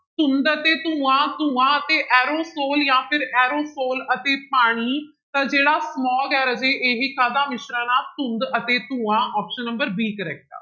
ਧੁੰਦ ਅਤੇ ਧੂੰਆ, ਧੂੰਆ ਅਤੇ ਐਰੋਸੋਲ ਜਾਂ ਫਿਰ ਐਰੋਸੋਲ ਅਤੇ ਪਾਣੀ ਤਾਂ ਜਿਹੜਾ smog ਹੈ ਰਾਜੇ ਇਹ ਕਾਹਦਾ ਮਿਸ਼ਰਣ ਆਂ ਧੁੰਦ ਅਤੇ ਧੂੰਆ option number b correct ਆ।